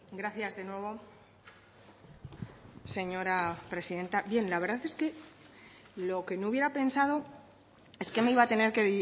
gracias de nuevo señora presidenta bien la verdad es que lo que no hubiera pensado es que me iba a tener que